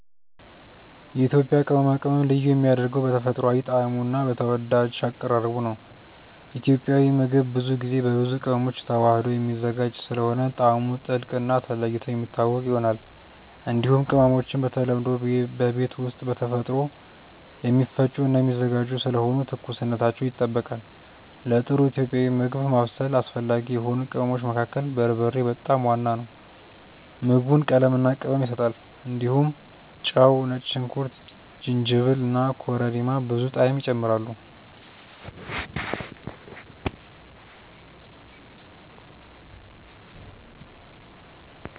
የኢትዮጵያ ቅመማ ቅመም ልዩ የሚያደርገው በተፈጥሯዊ ጣዕሙ እና በተወዳጅ አቀራረቡ ነው። ኢትዮጵያዊ ምግብ ብዙ ጊዜ በብዙ ቅመሞች ተዋህዶ የሚዘጋጅ ስለሆነ ጣዕሙ ጥልቅ እና ተለይቶ የሚታወቅ ይሆናል። እንዲሁም ቅመሞቹ በተለምዶ በቤት ውስጥ በተፈጥሮ የሚፈጩ እና የሚዘጋጁ ስለሆኑ ትኩስነታቸው ይጠበቃል። ለጥሩ ኢትዮጵያዊ ምግብ ማብሰል አስፈላጊ የሆኑ ቅመሞች መካከል በርበሬ በጣም ዋና ነው። ምግቡን ቀለምና ቅመም ይሰጣል። እንዲሁም ጨው፣ ነጭ ሽንኩርት፣ ጅንጅብል እና ኮረሪማ ብዙ ጣዕም ይጨምራሉ።